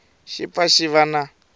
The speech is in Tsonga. xi pfa xi va na